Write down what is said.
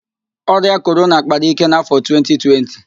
Ọrịa Korona kpara íké n'afọ 2020